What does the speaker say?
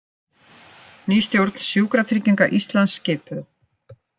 Ný stjórn Sjúkratrygginga Íslands skipuð